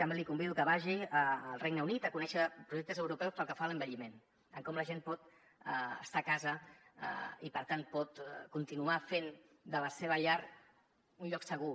també el convido que vagi al regne unit a conèixer projectes europeus pel que fa a l’envelliment de com la gent pot estar a casa i per tant pot continuar fent de la seva llar un lloc segur